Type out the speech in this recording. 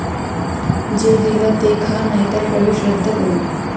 जे दिलं ते खा नाही तर प्रवेश रद्द करू'